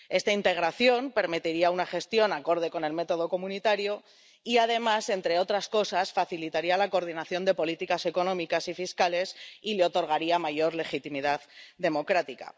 Esta integración permitiría una gestión acorde con el método comunitario y, además, entre otras cosas, facilitaría la coordinación de las políticas económicas y fiscales y le otorgaría mayor legitimidad democrática.